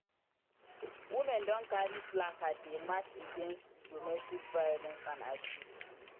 Women don carry placard dey march against domestic violence and abuse.